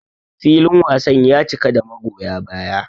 Filin wasan ya cika da magoya baya.